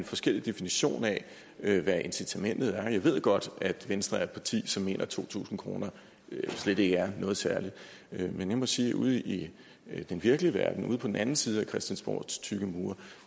forskellige definitioner af hvad incitamentet er jeg ved godt at venstre er et parti som mener at to tusind kroner slet ikke er noget særligt men jeg må sige at ude i den virkelige verden ude på den anden side af christiansborgs tykke mure